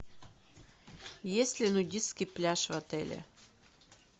есть ли нудистский пляж в отеле